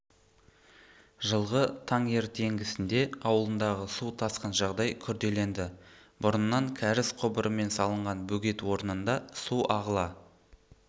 жылғы таңертеңгісінде ауылындағы су тасқын жағдай күрделенді бұрыннан кәріз құбырымен салынған бөгет орнында су ағыла